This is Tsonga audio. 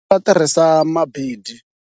Ndzi ta tirhisa